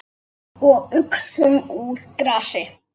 Og uxum úr grasi.